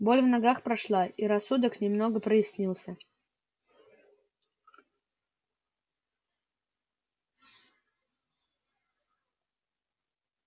боль в ногах прошла и рассудок немного прояснился